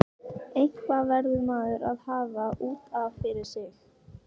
Eitthvað verður maður að hafa út af fyrir sig.